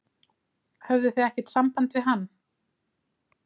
Höfðuð þið ekkert samband við hann?